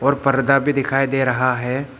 और पर्दा भी दिखाई दे रहा है।